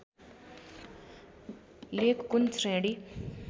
लेख कुन श्रेणी